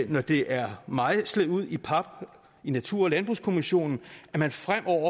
når det er mejslet ud i pap i natur og landbrugskommissionen at man fremover